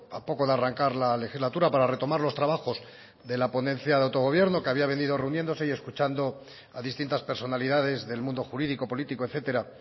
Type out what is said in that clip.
a poco de arrancar la legislatura para retomar los trabajos de la ponencia de autogobierno que había venido reuniéndose y escuchando a distintas personalidades del mundo jurídico político etcétera